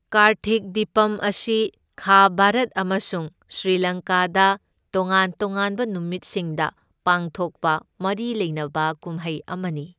ꯀꯥꯔꯊꯤꯛ ꯗꯤꯄꯝ ꯑꯁꯤ ꯈꯥ ꯚꯥꯔꯠ ꯑꯃꯁꯨꯡ ꯁ꯭ꯔꯤꯂꯪꯀꯥꯗ ꯇꯣꯉꯥꯟ ꯇꯣꯉꯥꯟꯕ ꯅꯨꯃꯤꯠꯁꯤꯡꯗ ꯄꯥꯡꯊꯣꯛꯄ ꯃꯔꯤ ꯂꯩꯅꯕ ꯀꯨꯝꯍꯩ ꯑꯃꯅꯤ꯫